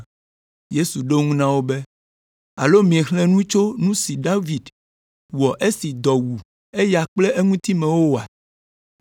Yesu ɖo eŋu na wo be, “Alo miexlẽ nu tso nu si David wɔ esi dɔ wu eya kple eŋutimewo ŋu oa?